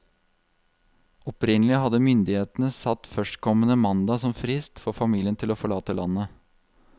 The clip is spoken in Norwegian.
Opprinnelig hadde myndighetene satt førstkommende mandag som frist for familien til å forlate landet.